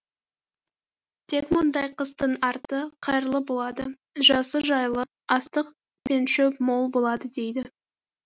тек мұндай қыстың арты қайырлы болады жазы жайлы астық пен шөп мол болады дейді